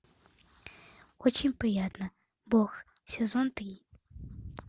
очень приятно бог сезон три